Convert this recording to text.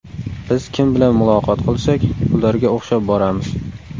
Biz kim bilan muloqot qilsak, ularga o‘xshab boramiz.